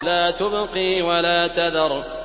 لَا تُبْقِي وَلَا تَذَرُ